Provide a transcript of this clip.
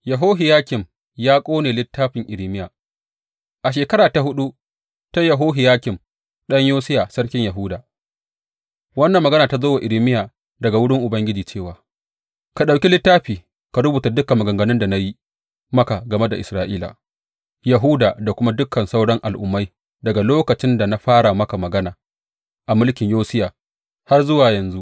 Yehohiyakim ya ƙone littafin Irmiya A shekara ta huɗu ta Yehohiyakim ɗan Yosiya sarkin Yahuda, wannan magana ta zo wa Irmiya daga wurin Ubangiji cewa, Ka ɗauki littafi ka rubuta dukan maganganun da na yi maka game da Isra’ila, Yahuda da kuma dukan sauran al’ummai daga lokacin da na fara maka magana a mulkin Yosiya har zuwa yanzu.